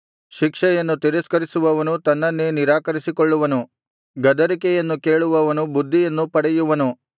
ಶಿಕ್ಷೆಯನ್ನು ತಿರಸ್ಕರಿಸುವವನು ತನ್ನನ್ನೇ ನಿರಾಕರಿಸಿಕೊಳ್ಳುವನು ಗದರಿಕೆಯನ್ನು ಕೇಳುವವನು ಬುದ್ಧಿಯನ್ನು ಪಡೆಯುವನು